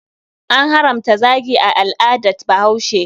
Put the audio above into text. An haramta zagi a al'adat Bahaushe.